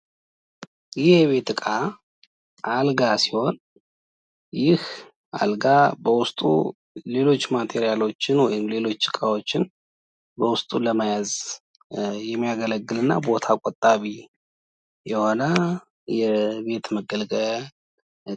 ይህ የቤት እቃ አልጋ ሲሆን በዉስጡ ሌሎች እቃዎን ወይም ሌሎች ማቴሪያሎችን በዉስጡ ለመያዝ የሚያገለግል እና ቦታ ቆጣቢ የሆነ የቤት መገልገያ እቃ ነው።